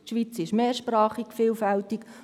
Die Schweiz ist mehrsprachig und vielfältig.